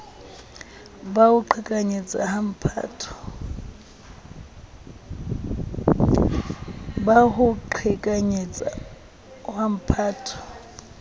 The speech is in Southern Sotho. ba ho qhekanyetsa wa mphato